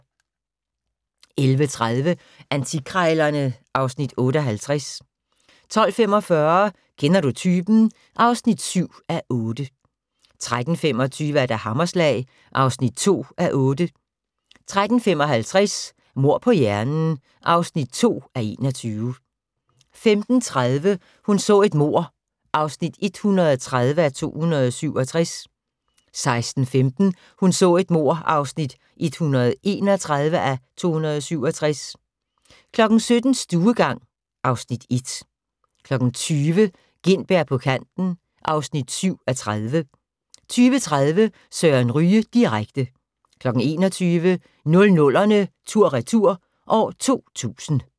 11:30: Antikkrejlerne (Afs. 58) 12:45: Kender du typen? (7:8) 13:25: Hammerslag (2:8) 13:55: Mord på hjernen (2:21) 15:30: Hun så et mord (130:267) 16:15: Hun så et mord (131:267) 17:00: Stuegang (Afs. 1) 20:00: Gintberg på kanten (7:30) 20:30: Søren Ryge direkte 21:00: 00'erne tur/retur: 2000